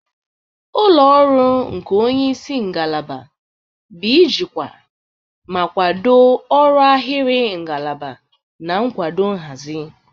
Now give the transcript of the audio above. Ụlọ ọrụ nke onye isi ngalaba bụ ijikwa ma kwado ọrụ ahịrị ngalaba na nkwado nhazi.